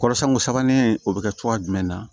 Kɔrɔsɛn ko sabanan o bɛ kɛ cogoya jumɛn na